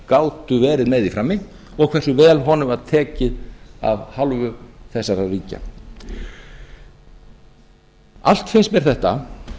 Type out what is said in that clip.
gátu verið með í frammi og hversu vel honum var tekið af hálfu þessara ríkja allt finnst mér þetta